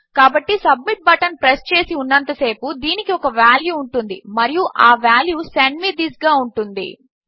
కాబట్టి submit button press చేసి ఉన్నంత సేపు దీనికి ఒక వాల్యూ ఉంటుంది మరియు ఆ వాల్యూ సెండ్ మే థిస్ గా ఉంటుంది